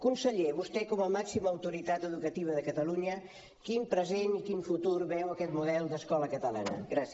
conseller vostè com a màxima autoritat educativa de catalunya quin present i quin futur veu a aquest model d’escola catalana gràcies